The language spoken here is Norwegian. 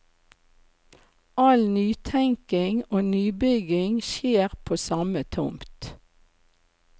All nytenkning og nybygging skjer på samme tomt.